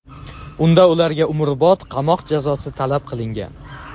Unda ularga umrbod qamoq jazosi talab qilingan.